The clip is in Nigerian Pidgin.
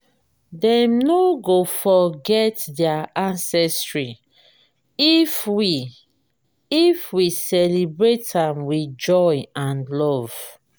dem no go forget their ancestry if we if we celebrate am with joy and love.